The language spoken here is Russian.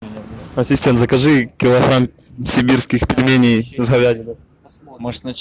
ассистент закажи килограмм сибирских пельменей с говядиной